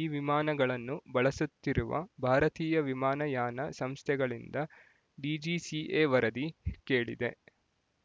ಈ ವಿಮಾನಗಳನ್ನು ಬಳಸುತ್ತಿರುವ ಭಾರತೀಯ ವಿಮಾನ ಯಾನ ಸಂಸ್ಥೆಗಳಿಂದ ಡಿಜಿಸಿಎ ವರದಿ ಕೇಳಿದೆ